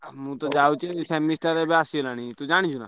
ଆଉ ମୁଁ ତ ଯାଉଛି semester ଏବେ ଆସିଗଲାଣି ତୁ ଜାଣିଛୁ ନାଁ।